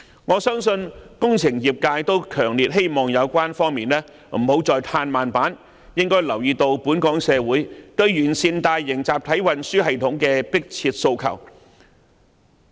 我相信工程業界均強烈希望有關方面不要再"唱慢板"，應該留意到本港社會對完善大型集體運輸系統的迫切訴求。